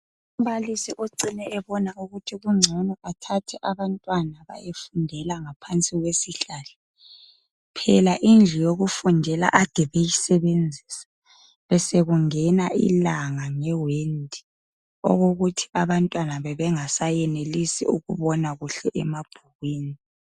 Umbalisi ocine ebona ukuthi kungcono athathe abantwana bayafundela ngaphansi kwesihlahla phela indlu yokufundela ade beyisebenzisa besekungena ilanga ngewindi okokuthi abantwana bebe ngasayenelisi ukubona kahle emabhukwini.